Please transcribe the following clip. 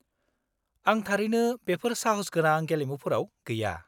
-आं थारैनो बेफोर साहसगोनां गेलेमुफोराव गैया।